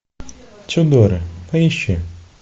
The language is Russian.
тюдоры поищи